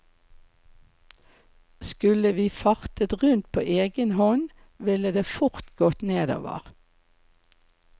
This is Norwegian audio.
Skulle vi fartet rundt på egen hånd, ville det fort gått nedover.